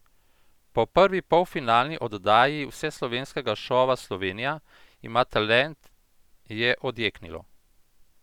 Po prvi polfinalni oddaji vseslovenskega šova Slovenija ima talent je odjeknilo!